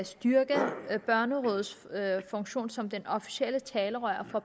styrke børnerådets funktion som det officielle talerør for